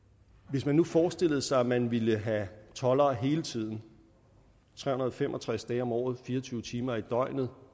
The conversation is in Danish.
hvis man nu forestillede sig at man ville have toldere hele tiden tre hundrede og fem og tres dage om året fire og tyve timer i døgnet